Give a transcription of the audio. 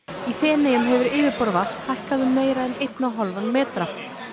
í Feneyjum hefur yfirborð vatns hækkað um meira en einn og hálfan metra